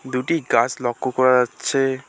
দুটি গাছ লক্ষ্য করা যাচ্ছে।